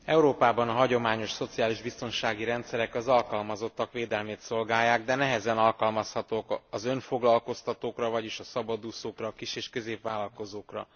Európában a hagyományos szociális biztonsági rendszerek az alkalmazottak védelmét szolgálják, de nehezen alkalmazhatók az önfoglalkoztatókra, vagyis a szabadúszókra, a kis és középvállalkozókra.